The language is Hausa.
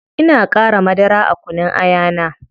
Ina qara madara a kunun aya na